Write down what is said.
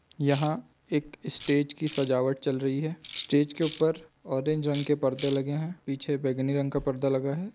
यहाँ एक स्टेज की सजावट चल रही है स्टेज के ऊपर ऑरेंज रंग के परदे लगे है पीछे बैगनी रंग का पर्दा लगा हुआ है।